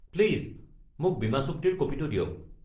Please মোক বীমাচুক্তিৰ ক'পিটো দিয়ক।